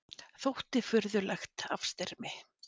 Þótti furðulegt afstyrmi.